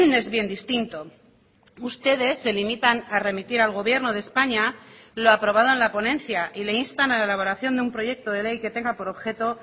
es bien distinto ustedes se limitan a remitir al gobierno de españa lo aprobado en la ponencia y le instan a la elaboración de un proyecto de ley que tenga por objeto